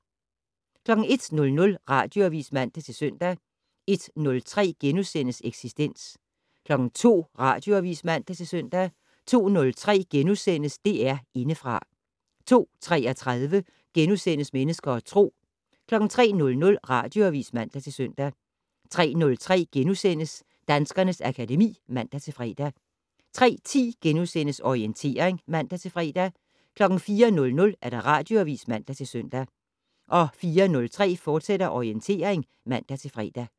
01:00: Radioavis (man-søn) 01:03: Eksistens * 02:00: Radioavis (man-søn) 02:03: DR Indefra * 02:33: Mennesker og Tro * 03:00: Radioavis (man-søn) 03:03: Danskernes akademi *(man-fre) 03:10: Orientering *(man-fre) 04:00: Radioavis (man-søn) 04:03: Orientering, fortsat (man-fre)